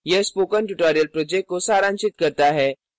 यह spoken tutorial project को सारांशित करता है